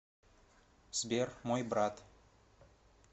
сбер мой брат